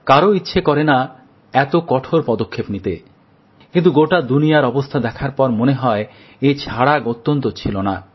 কারুর ইচ্ছে করে না এত কঠোর পদক্ষেপ নিতে কিন্তু গোটা দুনিয়ার অবস্থা দেখার পর মনে হয় এছাড়া গত্যন্তর ছিল না